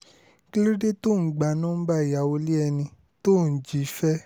kí ló dé tó ò ń gba nọ́ńbà ìyàwó ilé ẹni tó ò ń jí fẹ́